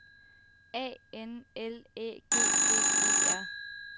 A N L Æ G G E R